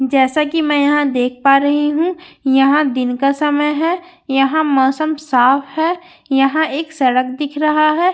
जैसा की मैं यहाँ देख पा रही हूँ यहाँ दिन का समय है यहाँ मौसम साफ़ है यहाँ एक सड़क दिख रहा है जिस पर--